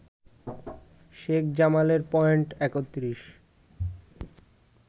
শেখ জামালের পয়েন্ট ৩১